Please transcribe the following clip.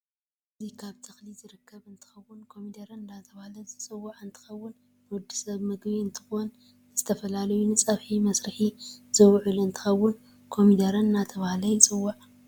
አዚ ካብ ተክሊ ዝርከብ እንትከዉን ኮሚደረ እዳተባህለ ዝፂዋዒ እንትከውን ንወድሰብ ምግብ እንትኮን ንዝተፈላላዪ ንፀብሒ መሰርሒ ዝወዐል እንትከውን ከምደረ እዳተባህለ ይፂዋዐ።